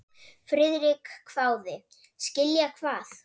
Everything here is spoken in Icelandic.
Friðrik hváði: Skilja hvað?